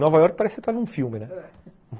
Nova Iorque parece que você está dentro de um filme, né?